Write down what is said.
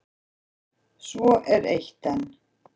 Svo er eitt enn.